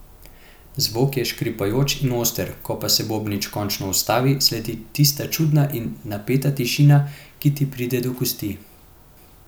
Zvok je škripajoč in oster, ko pa se bobnič končno ustavi, sledi tista čudna in napeta tišina, ki ti pride do kosti.